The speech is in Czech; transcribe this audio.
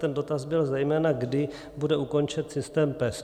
Ten dotaz byl zejména, kdy bude ukončen systém PES.